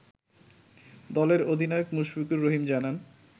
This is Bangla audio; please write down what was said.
দলের অধিনায়ক মুশফিকুর রহিম জানান